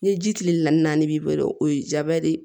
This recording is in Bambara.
Ni ji kile na ni naani b'i bolo o ye jaba de ye